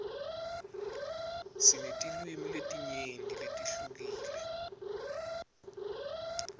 sinetilwimi letinyenti letihlukile